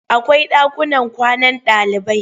Akwai ɗakunan kwanan ɗalibai.